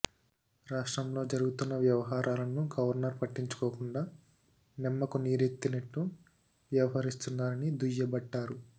రాష్ట్రంలో జరుగుతున్న వ్యవహారాలను గవర్నర్ పట్టించుకోకుండా నిమ్మకు నీరెత్తినట్టు వ్యవహరిస్తున్నారని దుయ్యబట్టారు